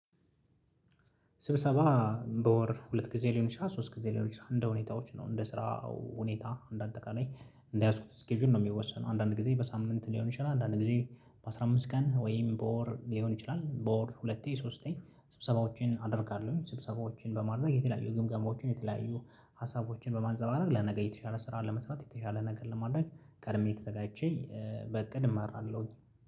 ስብሰባ በወር ሁለት ጊዜ ሊሆን ይችላል ሶስት ጊዜ ሊሆን ይችላል እንደ ሁኔታዎች ነው እንደ ስራ ሁኔታ እንደ አጠቃላይ እንደያዝኩት ስኬጁል ነው የሚወሰነው። አንዳንድ ጊዜ በሳምንት ሊሆን ይችላል አንዳንድ ጊዜ በአሥራ አምስት ቀን ወይም በወር ሊሆን ይችላል በወር ሁለቴ ሶስቴ ስብሰባዎችን አደርጋለሁ። ስብሰባዎችን በማድረግ የተለያዩ ግምገማዎችን የተለያዩ ሀሳቦችን በማንፀባረቅ ለነገ የተሻለ ስራ ለመስራት የተሻለ ነገር ለማድረግ ቀድሜ ተዘጋጅቼ በእቅድ እማራለሁኝ